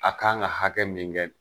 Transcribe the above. A kan ka hakɛ min kɛ